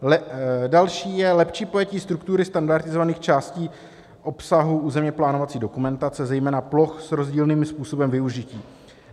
Další je lepší pojetí struktury standardizovaných částí obsahu územně plánovací dokumentace, zejména ploch s rozdílným způsobem využití.